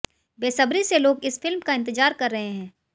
बेसब्री से लोग इस फिल्म का इंतजार कर रहे हैं